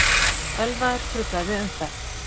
Ölvaður truflaði umferð